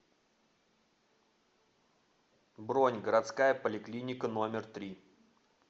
бронь городская поликлиника номер три